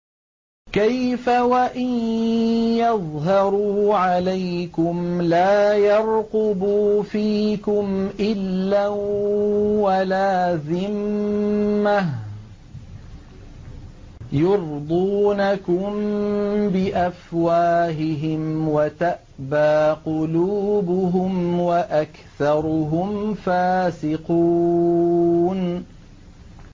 كَيْفَ وَإِن يَظْهَرُوا عَلَيْكُمْ لَا يَرْقُبُوا فِيكُمْ إِلًّا وَلَا ذِمَّةً ۚ يُرْضُونَكُم بِأَفْوَاهِهِمْ وَتَأْبَىٰ قُلُوبُهُمْ وَأَكْثَرُهُمْ فَاسِقُونَ